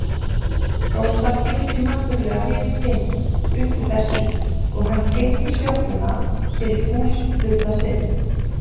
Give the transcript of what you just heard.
Rósa skildi náttúrlega við Finn upp úr þessu og hann keypti sjoppuna fyrir búshluta sinn.